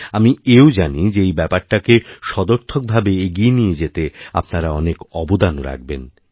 আমি এও জানি যেএই ব্যাপারটাকে সদর্থকভাবে এগিয়ে নিয়ে যেতে আপনারা অনেক অবদানও রাখবেন